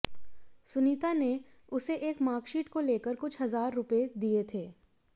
सुनीता ने उसे एक मार्कशीट को लेकर कुछ हजार रुपये दिये थे